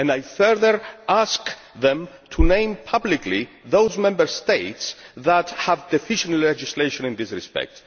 I further ask them to name publicly those Member States that have deficient legislation in this respect.